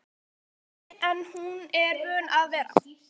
Hún er ekkert öðruvísi en hún er vön að vera